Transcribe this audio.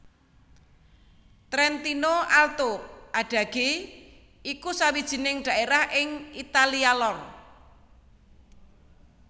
Trentino Alto Adige iku sawijining dhaerah ing Italia lor